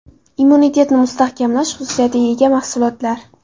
Immunitetni mustahkamlash xususiyatiga ega mahsulotlar.